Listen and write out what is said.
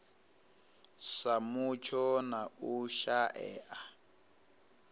sa mutsho na u shaea